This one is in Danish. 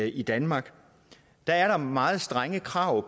i danmark der er der meget strenge krav